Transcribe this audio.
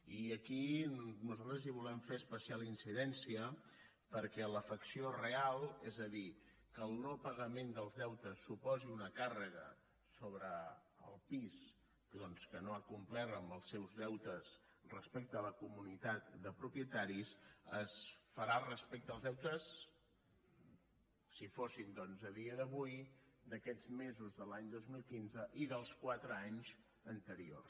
i aquí nosaltres hi volem fer especial incidència perquè l’afecció real és a dir que el no pagament dels deutes suposi una càrrega sobre el pis doncs que no ha complert amb els seus deutes respecte a la comunitat de propietaris es farà respecte als deutes si fossin a dia d’avui d’aquests mesos de l’any dos mil quinze i dels quatre anys anteriors